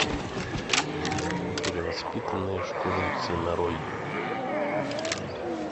перевоспитанные школьницы нарой